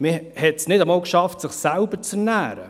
Man schaffte es nicht einmal, sich selbst zu ernähren.